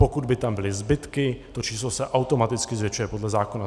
Pokud by tam byly zbytky, to číslo se automaticky zvětšuje podle zákona.